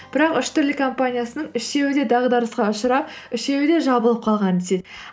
бірақ үш түрлі компаниясының үшеуі де дағдарысқа ұшырап үшеуі де жабылып қалған деседі